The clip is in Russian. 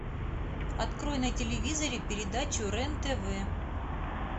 открой на телевизоре передачу рен тв